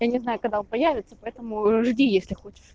я не знаю когда он появится поэтому жди если хочешь